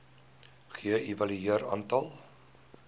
ge evalueer aantal